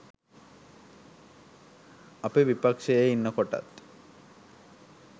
අපි විපක්ෂයේ ඉන්නකොටත්